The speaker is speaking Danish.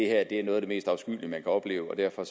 er noget af det mest afskyelige man kan opleve og derfor